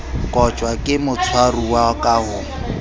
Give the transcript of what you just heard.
kotjwa ke motshwaruwa ka ho